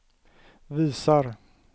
visar